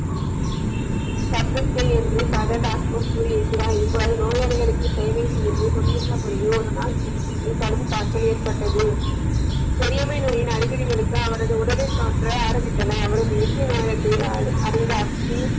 சப்தத்தை என்று கூறி இருக்கிறார் இவ்வாறு நோயாளிகளுக்கு சேவை செய்து கொண்டிருந்த பொழுது ஒரு நாள் குருஜிக்கு கடும் காய்ச்சல் ஏற்பட்டது பேரியாமை நோயின் அறிகுறிகளுக்கு அவரது உடலில் தோன்ற ஆரம்பித்தன அவரது இறுத , அறிந்த ஆப் ஜி.